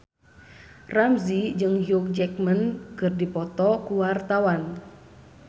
Ramzy jeung Hugh Jackman keur dipoto ku wartawan